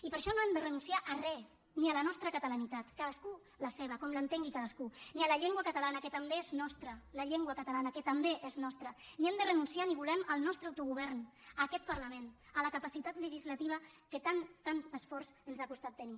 i per això no hem de renunciar a res ni a la nostra catalanitat cadascú la seva com l’entengui cadascú ni a la llengua catalana que també és nostra la llengua catalana que també és nostra ni hem de renunciar ni volem al nostre autogovern a aquest parlament a la capacitat legislativa que tant esforç ens ha costat tenir